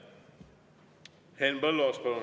Henn Põlluaas, palun!